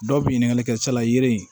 Dɔw bɛ ɲininkali kɛ sala yiri